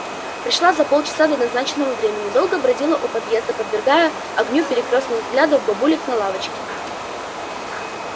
пришла за полчаса до назначенного времени долго бродила у подъезда подвергаясь огню перекрёстных взглядов бабулек на лавочке